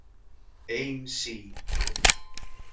Ein sýn.